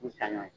Misali ye